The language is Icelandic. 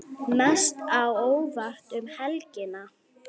Mest á óvart um helgina?